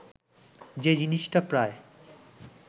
যে জিনিসটা প্রায়